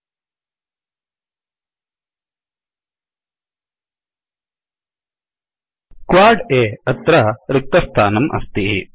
quad अ अत्र रिक्तस्थानम् अस्ति